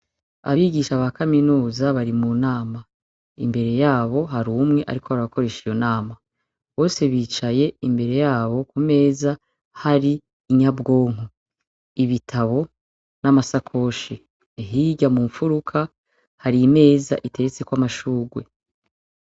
Abigisha ba kaminuza bari mu nama .Imbere yabo hari umwe ariko arabakoresha iyo nama. Bose bicaye imbere yabo Ku meza hari inyabwonko ,ibitabo n' amasakoshi . Hirya mu nfuruka , hari imeza iteretseko amashurwe .